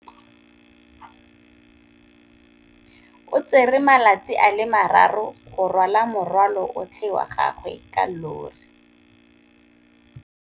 O tsere malatsi a le marraro go rwala morwalo otlhe wa gagwe ka llori.